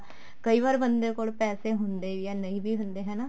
ਕਈ ਵਾਰ ਬੰਦੇ ਕੋਲ ਪੈਸੇ ਹੁੰਦੇ ਵੀ ਏ ਨਹੀਂ ਵੀ ਹੁੰਦੇ ਹਨਾ